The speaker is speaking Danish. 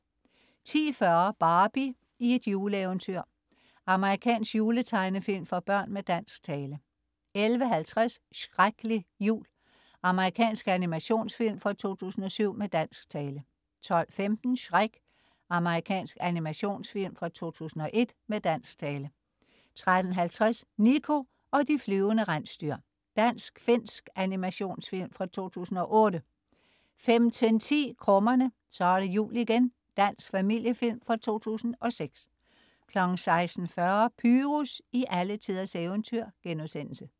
10.40 Barbie i et juleeventyr. Amerikansk juletegnefilm for børn med dansk tale 11.50 Shreklig jul. Amerikansk animationsfilm fra 2007 med dansk tale 12.15 Shrek. Amerikansk animationsfilm fra 2001 med dansk tale 13.50 Niko og de flyvende rensdyr. Dansk-finsk animationsfilm fra 2008 15.10 Krummerne. Så er det jul igen. Dansk familiefilm fra 2006 16.40 Pyrus i alletiders eventyr*